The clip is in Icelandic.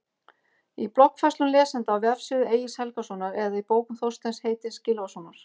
Í bloggfærslum lesenda á vefsíðu Egils Helgasonar eða í bókum Þorsteins heitins Gylfasonar?